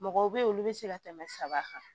Mɔgɔw bɛ yen olu bɛ se ka tɛmɛ saba kan